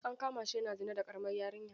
An kama shi yana zina da ƙaramar yarinya.